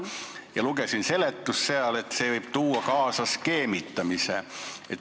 Ma lugesin seletust, et see võib tuua kaasa skeemitamise.